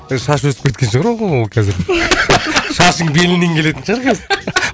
шашы өсіп кеткен шығар ол оның қазір шашың беліңнен келетін шығар қазір